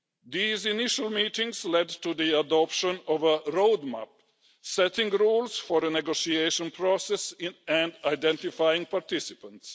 These initial meetings led to the adoption of a roadmap, setting rules for a negotiation process and identifying participants.